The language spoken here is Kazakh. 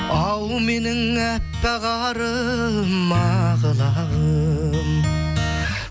ау менің әппақ арым ақ лағым